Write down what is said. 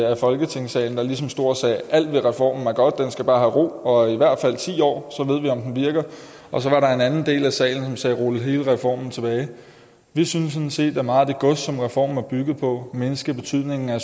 af folketingssalen der ligesom stod og sagde alt med reformen er godt den skal bare have ro og i hvert fald ti år så ved vi om den virker og så var der en anden del af salen som sagde rul hele reformen tilbage vi synes sådan set at meget af det gods som reformen er bygget på at mindske betydningen af